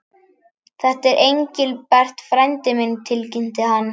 Þetta er Engilbert frændi minn tilkynnti hann.